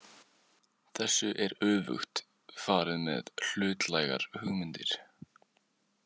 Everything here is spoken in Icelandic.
"Þessu er öfugt farið með ""hlutlægar hugmyndir."